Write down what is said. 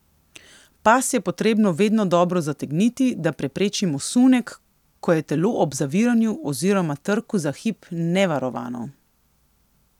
Pas je potrebno vedno dobro zategniti, da preprečimo sunek, ko je telo ob zaviranju oziroma trku za hip nevarovano.